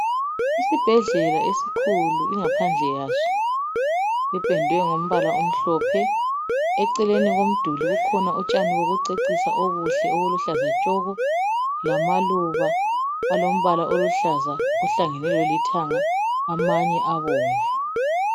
Isibhedlela esikhulu ingaphandle yaso ipendwe ngombala omhlophe, eceleni komduli kukhona utshani bokucecisa obuhle obuluhlaza tshoko, lamaluba alombala oluhlaza ohlangene lolithanga amanye abomvu.